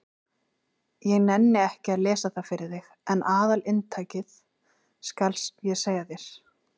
Ég nenni ekki að lesa það fyrir þig en aðalinntakið skal ég segja þér.